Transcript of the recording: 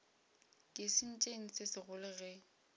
ke sentšeng se segolo ge